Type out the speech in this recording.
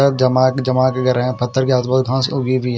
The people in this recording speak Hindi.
जमाके जमाके कर रहे हैं पत्थर के आस पास घाँस उगी हुई हैं।